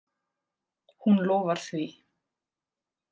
Hún lofar því.